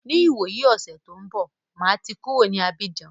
Ní ìwòyí ọ̀sẹ̀ tí ó ń bọ̀, máa ti máa kúrò ní Abíjan.